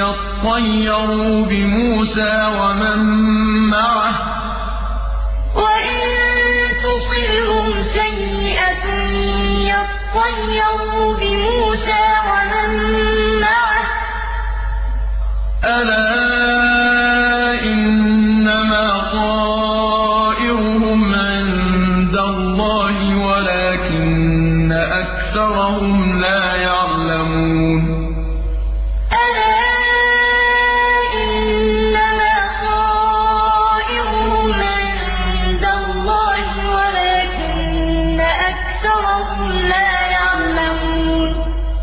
يَطَّيَّرُوا بِمُوسَىٰ وَمَن مَّعَهُ ۗ أَلَا إِنَّمَا طَائِرُهُمْ عِندَ اللَّهِ وَلَٰكِنَّ أَكْثَرَهُمْ لَا يَعْلَمُونَ فَإِذَا جَاءَتْهُمُ الْحَسَنَةُ قَالُوا لَنَا هَٰذِهِ ۖ وَإِن تُصِبْهُمْ سَيِّئَةٌ يَطَّيَّرُوا بِمُوسَىٰ وَمَن مَّعَهُ ۗ أَلَا إِنَّمَا طَائِرُهُمْ عِندَ اللَّهِ وَلَٰكِنَّ أَكْثَرَهُمْ لَا يَعْلَمُونَ